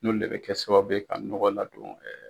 N'olu le bɛ kɛ sababu ye ka ɲɔgɔ ladon